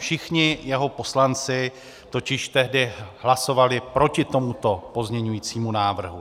Všichni jeho poslanci totiž tehdy hlasovali proti tomuto pozměňovacímu návrhu.